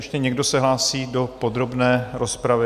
Ještě někdo se hlásí do podrobné rozpravy?